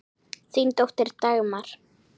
Þín dóttir, Dagmar.